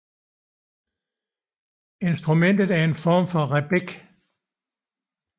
Instrumentet er en form for rebec